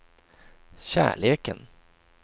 kärleken